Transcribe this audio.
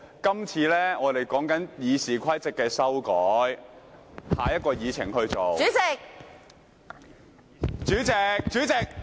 今次我們討論修改《議事規則》，下一項議程便會進行。